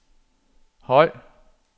høj